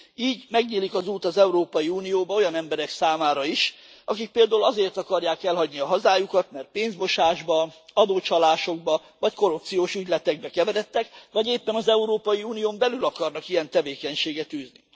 Így megnyílik az út az Európai Unióba olyan emberek számára is, akik például azért akarják elhagyni a hazájukat, mert pénzmosásba, adócsalásokba vagy korrupciós ügyletekbe keveredtek, vagy éppen az Európai Unión belül akarnak ilyen tevékenységet űzni.